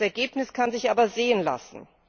Das Ergebnis kann sich aber sehen lassen.